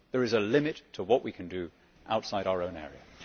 There is a limit to what we can do outside our own area.